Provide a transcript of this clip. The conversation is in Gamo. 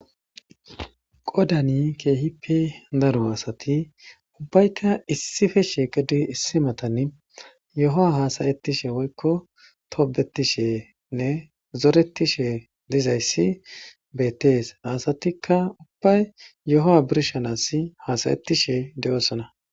Qoodan keehippe daro asati ubbaykka issippe shiiqidi issi matan yohuwa haasa'ettishe woykko tobbetishene zorettishe dizayssi beettes. Ha asatikka ubbay yohuwa birshanas hasa'itishe doosona.